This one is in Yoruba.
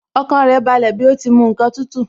Ọkàn rẹ̀ balẹ̀ bí ó ti mu ǹkan tútù